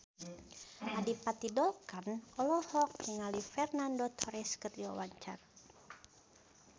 Adipati Dolken olohok ningali Fernando Torres keur diwawancara